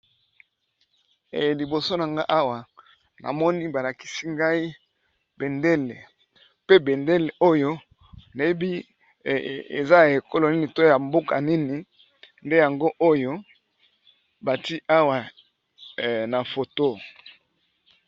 liboso na nga awa namoni balakisi ngai bendele pe bendele oyo nayebi te soki eza ya ekolo nini to ya mboka nini nde yango oyo bati awa na foto